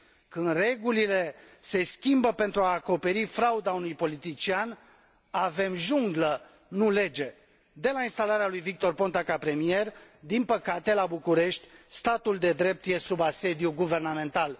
Când regulile se schimbă pentru a acoperi frauda unui politician, avem junglă, nu lege. De la instalarea lui Victor Ponta ca premier, din păcate, la București statul de drept este sub asediu guvernamental.